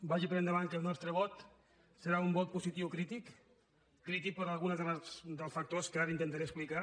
vagi per endavant que el nostre vot serà un vot positiu crític crític per algun dels factors que ara intentaré explicar